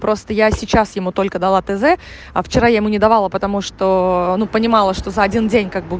просто я сейчас ему только дала тз а вчера я ему не давала потому что ну понимала что за один день как бы